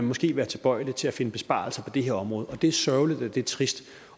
måske være tilbøjelig til at finde besparelser på det her område og det er sørgeligt og det er trist og